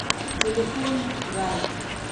телефон рай